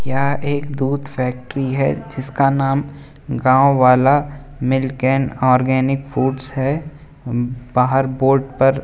यहाँ एक दूध फैक्ट्री है जिसका नाम Gaon Wala milk and organic foods है बाहर बोर्ड पर --